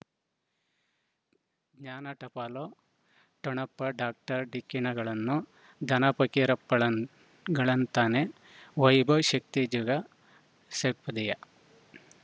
ಜ್ಞಾನ ಟಪಾಲು ಠೊಣಪ ಡಾಕ್ಟರ್ ಢಿಕ್ಕಿ ಣಗಳನು ಧನ ಫಕೀರಪ್ಪ ಳಂ ಗಳಂತಾನೆ ವೈಭವ್ ಶಕ್ತಿ ಝಗಾ ಷಟ್ಪದಿಯ